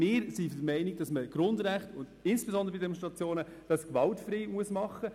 Wir sind der Meinung, dass Demonstrationen gewaltfrei sein müssen.